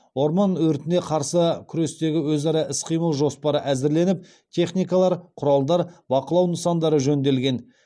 орман өртіне қарсы күрестегі өзара іс қимыл жоспары әзірленіп техникалар құралдар бақылау нысандары жөнделген